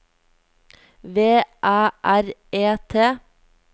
V Æ R E T